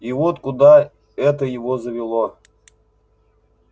и вот куда это его завело